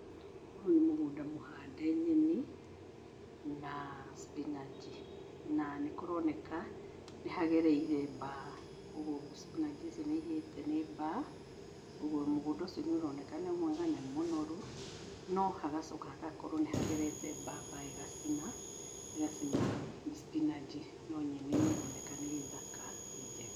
Ũyũ nĩ mũgũnda mũhande nyeni na spinach na nĩkũroneka nĩ hagereire mbaa, ũguo spinach icio nĩ ihĩte nĩ mbaa. Ũguo mũgũnda ũcio nĩ ũroneka nĩ mwega na nĩ mũnoru, no hagacoka hagakorwo nĩ hagerete mbaa, mbaa ĩgacina, ĩgacina spinach, no nyeni nĩ ĩroneka nĩ thaka, nĩ njega.